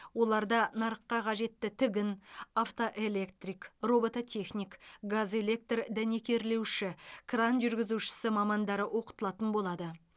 оларда нарыққа қажетті тігін автоэлектрик робототехник газэлектр дәнекерлеуші кран жүргізушісі мамандары оқытылатын болады